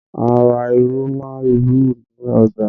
A ra irú màálù ni ọjà